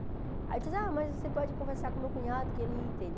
Aí ele disse, ah, mas você pode conversar com o meu cunhado que ele entende.